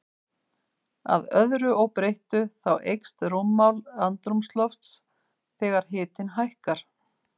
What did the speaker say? Að öðru óbreyttu, þá eykst rúmmál andrúmslofts þegar hiti hækkar.